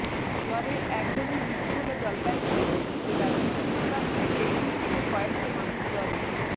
জ্বরে এক জনের মৃত্যু হল জলপাইগুড়িতে জেলার বিভিন্ন প্রান্তে এই মুহূর্তে কয়েকশো মানুষ জ্বরে